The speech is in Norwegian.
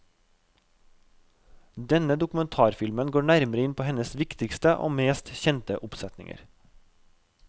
Denne dokumentarfilmen går nærmere inn på hennes viktigste og mest kjente oppsetninger.